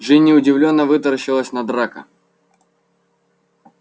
джинни удивлённо вытаращилась на драко